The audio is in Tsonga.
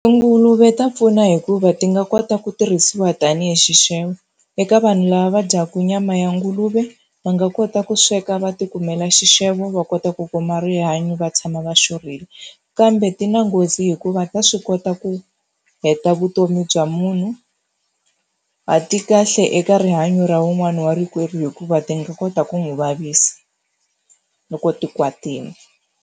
Tinguluve ta pfuna hikuva ti nga kota ku tirhisiwa tanihi xixevo. Eka vanhu lava va dyaka nyama ya nguluve, va nga kota ku sweka va tikumela xixevo va kota ku kuma rihanyo va tshama va xurhile. Kambe ti na nghozi hikuva ta swi kota ku heta vutomi bya munhu, a ti kahle eka rihanyo ra wun'wani wa rikwerhu hikuva ti nga kota ku n'wi vavisa loko ti kwatile.